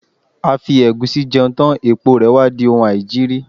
A fi ẹ̀gúsí jẹun tán, èpo rè wá di oun aìjiri.